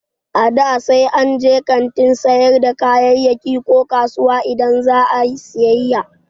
A da, sai an je kantin sayar da kayayyaki ko kasuwa idan za a yi siyayya